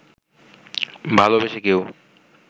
ভালোবেসে কেউ